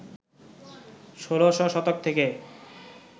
১৬শ শতক থেকে